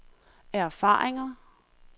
erfaringer